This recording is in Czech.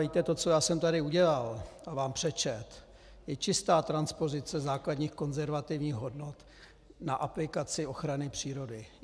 Víte, to, co já jsem tady udělal a vám přečetl, je čistá transpozice základních konzervativních hodnot na aplikaci ochrany přírody.